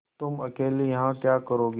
तुम अकेली यहाँ क्या करोगी